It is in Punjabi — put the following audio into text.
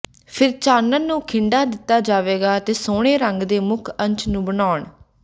ਫਿਰ ਚਾਨਣ ਨੂੰ ਖਿੰਡਾ ਦਿੱਤਾ ਜਾਵੇਗਾ ਅਤੇ ਸੋਹਣੇ ਰੰਗ ਦੇ ਮੁੱਖ ਅੰਸ਼ ਨੂੰ ਬਣਾਉਣ